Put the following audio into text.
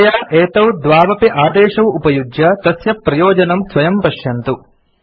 कृपया एतौ द्वौ अपि आदेशौ उपयुज्य तस्य प्रयोजनं स्वयं पश्यन्तु